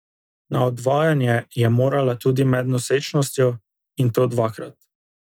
Na odvajanje je morala tudi med nosečnostjo, in to dvakrat.